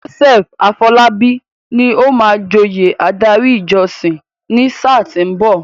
Joseph Afolabi ni ó máa joyè adarí ìjọsìn ní sáà tí ó ń bọ̀.